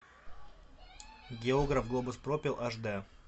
географ глобус пропил аш дэ